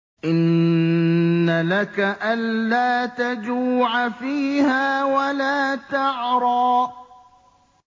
إِنَّ لَكَ أَلَّا تَجُوعَ فِيهَا وَلَا تَعْرَىٰ